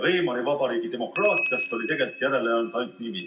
Weimari Vabariigi demokraatiast oli järele jäänud ainult nimi.